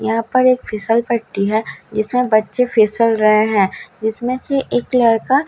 यहां पर एक फिसल पट्टी है जिसमें बच्चे फिसल रहे हैं जिसमें से एक लड़का आं फिसल --